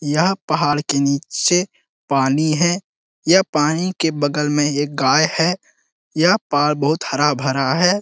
यहाँ पहाड़ के नीचे पानी है। यह पानी के बगल में एक गाय है। यह पहाड़ बोहोत हरा-भरा है।